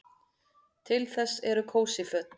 Til þess eru kósí föt.